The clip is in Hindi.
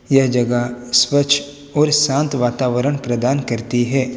यह जगह स्वच्छ और शांत वातावरण प्रदान करती है।